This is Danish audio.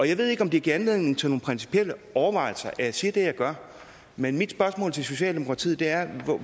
jeg ved ikke om det giver anledning til nogle principielle overvejelser at jeg siger det jeg gør men mit spørgsmål til socialdemokratiet er